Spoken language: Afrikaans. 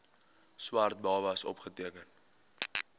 swart babas opgeteken